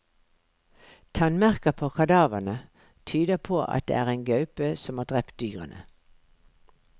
Tannmerker på kadavrene tyder på at det er en gaupe som har drept dyrene.